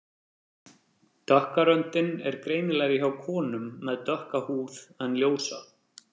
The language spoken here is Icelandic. Dökka röndin er greinilegri hjá konum með dökka húð en ljósa.